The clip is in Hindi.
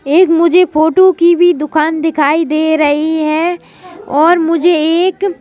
एक मुझे फोटो की भी दुकान दिखाई दे रही है और मुझे एक--